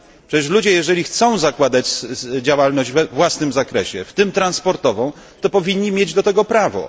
Przecież ludzie, jeżeli chcą zakładać działalność we własnym zakresie, w tym transportową, to powinni mieć do tego prawo.